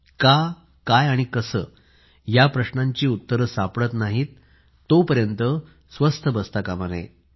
का काय आणि कसे या प्रश्नांची उत्तरं सापडत नाहीत तोपर्यंत स्वस्थ बसता कामा नये